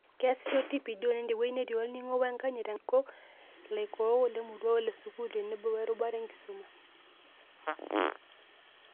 Keasisho TPD oleng' tewueji netii olning'o wenkanyit tenkaraki, ilaitekenak, ilaikook, ilarikok lemurua ole sukuul tenebo werubata enkisuma